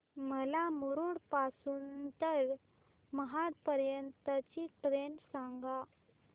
मला मुरुड पासून तर महाड पर्यंत ची ट्रेन सांगा